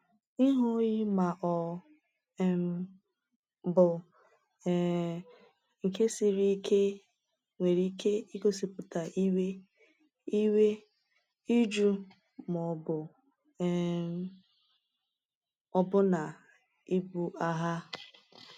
Ihu oyi ma ọ um bụ um nke siri ike nwere ike igosipụta iwe, iwe, ịjụ, ma ọ bụ um ọbụna ibu agha.